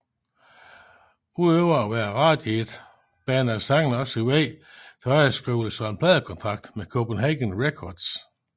Udover at være et radiohit banede sangen også vejen til underskrivelse af en pladekontakt med Copenhagen Records